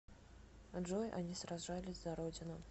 джой они сражались за родину